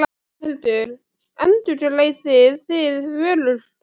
Þórhildur: Endurgreiðið þið vörur?